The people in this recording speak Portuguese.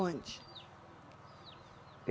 Onde?